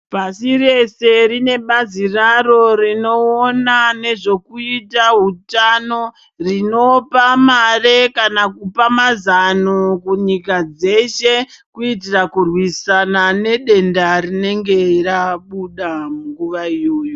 Pasi reshe rine bazi raro rinoona nezvekuita hutano, rinopa mari kana kupa mazano kunyika dzeshe kuitira kurwisana nedenda rinenge rabuda panguva iyoyo.